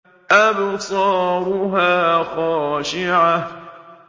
أَبْصَارُهَا خَاشِعَةٌ